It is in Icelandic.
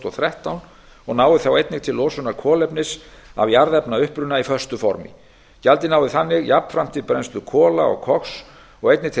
og þrettán og nái þá einnig til losunar kolefnis af jarðefnauppruna í föstu formi gjaldið nái þannig jafnframt til brennslu kola og koks og einnig til